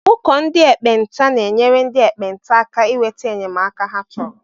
Ụkọ ndị ekpenta na-enyere ndị ekpenta aka inweta enyemaka hé chọrọ.